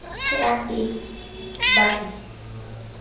ke a ba a e